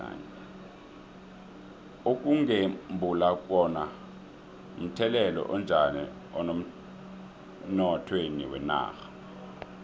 ukugembula kuno mthelela onjani emnothweni wenarha